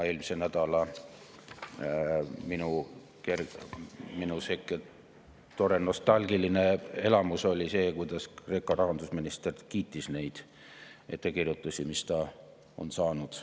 Eelmisel nädalal oli minul tore nostalgiline elamus, kui Kreeka rahandusminister kiitis neid ettekirjutusi, mis Kreeka on saanud.